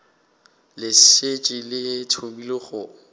le šetše le thomile go